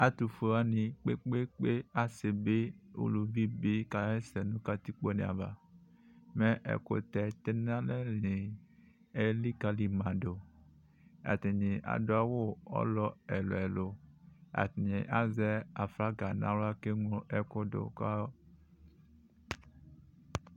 Atʋfue wani kpekpekpe asibi ʋlʋvibi kasɛsɛ nʋ katikpone ava mɛ ɛkʋtɛ tɛnʋ alɛni elikalimadʋatani adʋ awʋ ɔlɔ ɛlʋ ɛlʋ atani azɛ aflaga nʋ aɣla kʋ eŋlo ɛkʋdʋ